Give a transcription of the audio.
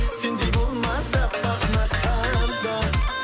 сендей болмас аппақ мақта да